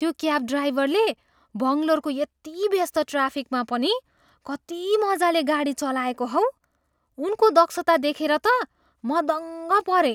त्यो क्याब ड्राइभरले बङ्गलोरको यति व्यस्त ट्राफिकमा पनि कति मजाले गाडी चलाएको हौ। उनको दक्षता देखेर त म दङ्ग परेँ।